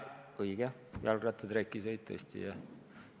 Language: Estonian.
Õige, jalgratta trekisõit tõesti, jah.